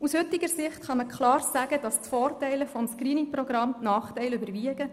Aus heutiger Sicht kann man klar sagen, dass die Vorteile des Screening-Programms die Nachteile überwiegen.